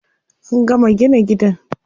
An gama gina gidan.